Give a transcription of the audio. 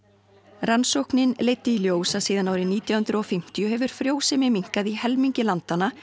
rannsóknin leiddi í ljós að síðan árið nítján hundruð og fimmtíu hefur frjósemi minnkað í nærri helmingi landanna